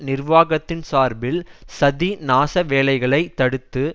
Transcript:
நிர்வாகத்தின் சார்பில் சதி நாச வேலைகளை தடுத்து